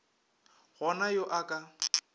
go na yo a ka